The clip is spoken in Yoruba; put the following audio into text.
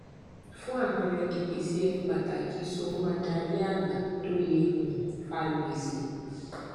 fún àpẹẹrẹ ìpèsè ẹni pàtàkì so mọ adarí àgbà tó lè um fa gbèsè